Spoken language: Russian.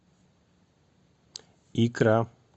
икра